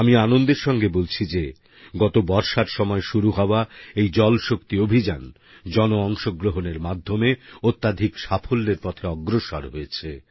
আমি আনন্দের সঙ্গে বলছি যে গত বর্ষার সময় শুরু হওয়া এই জল শক্তি অভিযান জন অংশগ্রহণের মাধ্যমে অত্যধিক সাফল্যের পথে অগ্রসর হয়েছে